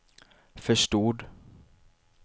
förstod